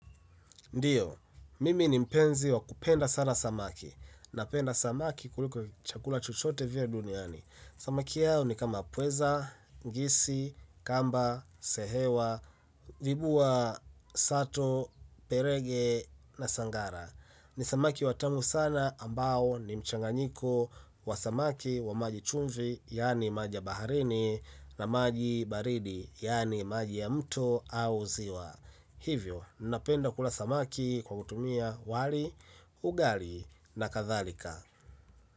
Ndio, mimi ni mpenzi wa kupenda sana samaki. Na penda samaki kuliko chakula chochote vile duniani, samaki hao ni kama pweza, ngisi, kamba, sehewa, vibuwa, sato, perege na sangara ni samaki watamu sana ambao ni mchanganyiko wa samaki wa maji chumvi, yani maja ya baharini na maji baridi, yani maji ya mto au ziwa hivyo, napenda kula samaki kwa kutumia wali, ugali na katharika.